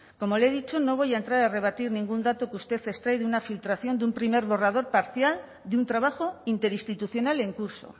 como le he dicho no voy a entrar a rebatir ningún dato que usted extrae de una filtración de un primer borrador parcial de un trabajo interinstitucional en curso